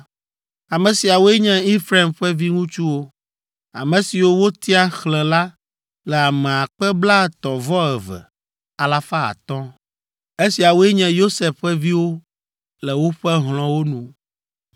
Ame siawoe nye Efraim ƒe viŋutsuwo. Ame siwo wotia xlẽ la le ame akpe blaetɔ̃-vɔ-eve, alafa atɔ̃ (32,500). Esiawoe nye Yosef ƒe viwo le woƒe hlɔ̃wo nu.